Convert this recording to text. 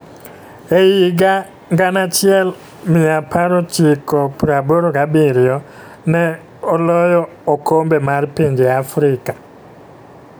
e higa 1987 ne loyo okombe mar pinje Afrika